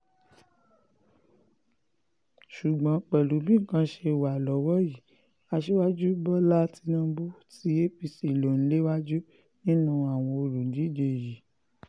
ṣùgbọ́n pẹ̀lú bí nǹkan ṣe wà lọ́wọ́ yìí aṣíwájú bọ́lá tínúbù tí apc lò ń léwájú nínú àwọn olùdíje yìí